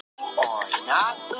En þú ert sko ekki laus.